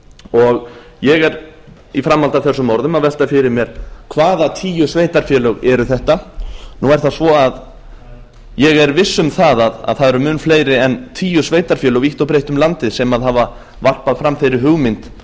og ég er í framhaldi af þessum orðum að velta fyrir mér hvaða tíu sveitarfélög eru þetta nú er það svo að ég er viss um að það eru mun fleiri en tíu sveitarfélög vítt og breitt um landið sem hafa varpað fram þeirri hugmynd